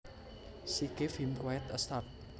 She gave him quite a start